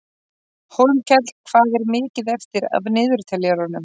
Hólmkell, hvað er mikið eftir af niðurteljaranum?